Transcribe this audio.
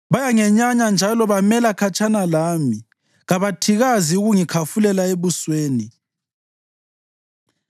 Bayangenyanya njalo bamela khatshana lami; kabathikazi ukungikhafulela ebusweni.